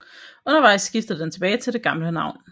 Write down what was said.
Undervejs skiftede den tilbage til det gamle navn